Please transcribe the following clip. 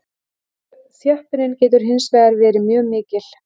Þjöppunin getur hins vegar verið mjög mikil.